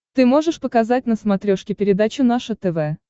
ты можешь показать на смотрешке передачу наше тв